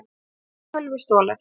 Þar var tölvu stolið.